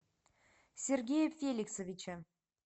сергея феликсовича